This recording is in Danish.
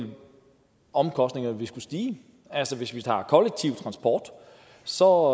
omkostningerne vil skulle stige altså hvis vi tager kollektiv transport så